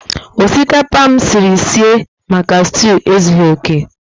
Osikapa m siri sie maka stew ezughi oke.